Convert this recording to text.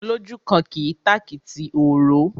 Olójúkan kì í tàkìtì òró.